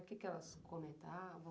O que elas comentavam?